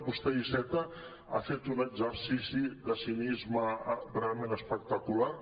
vostè iceta ha fet un exercici de cinisme realment espectacular